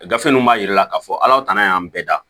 Gafe ninnu b'a jira k'a fɔ aw tana y'an bɛɛ da